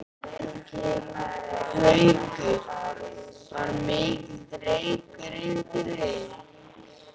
Haukur: Var mikill reykur inn til þín?